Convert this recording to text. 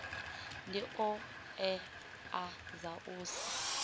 ndi hoea dza u sa